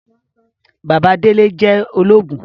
Bàbá Délé jẹ ologun